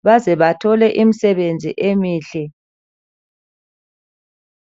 ukuzebethole imisebenzi emihle